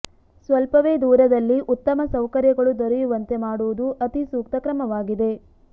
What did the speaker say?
ಸ್ವಲ್ಪವೇ ದೂರದಲ್ಲಿ ಉತ್ತಮ ಸೌಕರ್ಯಗಳು ದೊರೆಯುವಂತೆ ಮಾಡುವುದು ಅತಿ ಸೂಕ್ತ ಕ್ರಮವಾಗಿದೆ